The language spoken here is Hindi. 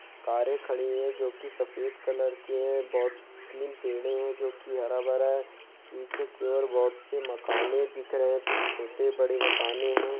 कारे खड़ी है जो कि सफेद कलर की है बहुत पे तीन पेड़े है जो कि हरा-भरा है पीछे की ओर बहुत से मक़ाने दिख रहे है कुछ छोटे-बड़े मकाने है।